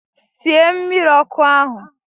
Sie mmiri ọkụ ahụ!